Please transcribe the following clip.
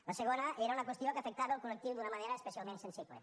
la segona era una qüestió que afectava el col·lectiu d’una manera especialment sensible